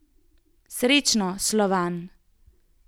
Srečno, Slovan!